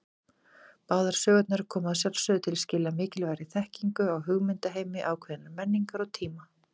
Báðar sögurnar koma að sjálfsögðu til skila mikilvægri þekkingu á hugmyndaheimi ákveðinnar menningar og tíma.